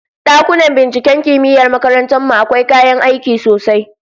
Dakunan binciken kimiyyar makarantar mu akwai kayan aiki sosai